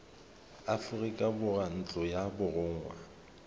aforika borwa ntlo ya borongwa